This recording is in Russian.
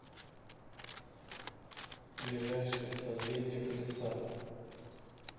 ближайший созвездие колеса